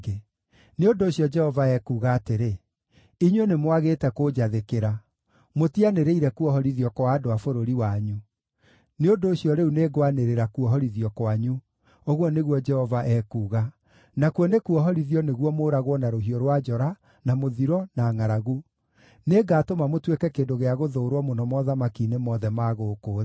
“Nĩ ũndũ ũcio, Jehova ekuuga atĩrĩ: Inyuĩ nĩmwagĩte kũnjathĩkĩra: mũtianĩrĩire kuohorithio kwa andũ a bũrũri wanyu. Nĩ ũndũ ũcio rĩu nĩngwanĩrĩra ‘kuohorithio’ kwanyu, ũguo nĩguo Jehova ekuuga, nakuo nĩ ‘kuohorithio’ nĩguo mũũragwo na rũhiũ rwa njora, na mũthiro, na ngʼaragu. Nĩngatũma mũtuĩke kĩndũ gĩa gũthũũrwo mũno mothamaki-inĩ mothe ma gũkũ thĩ.